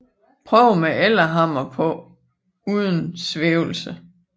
Prøvede med Ellehammer på uden svævelse